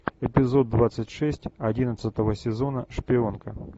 эпизод двадцать шесть одиннадцатого сезона шпионка